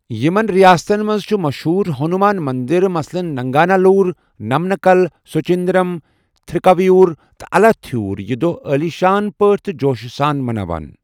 یِمن رِیاستن منٛزچھِ مشہوٗر ہنوٗمان منٛدر مثلاً ننٛگانہ لوٗر، نمَہٕ کَل، سُچِنٛدرَم، تِھرکاوِیوُر تہٕ اَلاتِھیوُر یہِ دۄہ عٲلی شان پٲٹھۍ تہٕ جوشہٕ سان مَناوان۔